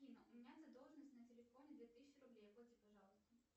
афина у меня задолженность на телефоне две тысячи рублей оплати пожалуйста